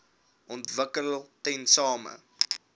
wvp ontwikkel tesame